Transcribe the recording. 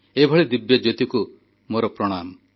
ଏଭଳି ଦିବ୍ୟଜ୍ୟୋତିକୁ ମୋର ପ୍ରଣାମ